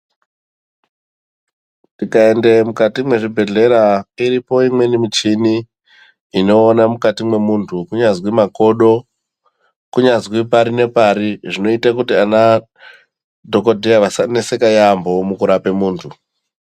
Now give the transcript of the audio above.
Tikaende mukati me zvibhedhleya iripo imweni muchini ino ona mukati mwe muntu kunyazwi makodo kunyazwi pari ne pari zvino ita kuti ana dhokodheya asa neseka yambo muku rape muntu.